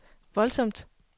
voldsomt